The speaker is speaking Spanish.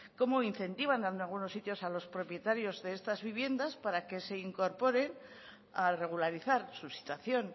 cómo incentivan en algunos sitios a los propietarios de estas viviendas para que se incorporen a regularizar su situación